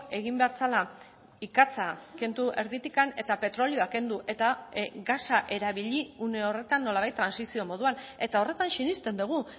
egin behar zela ikatza kendu erditik eta petrolioa kendu eta gasa erabili une horretan nolabait trantsizio moduan eta horretan sinesten dugu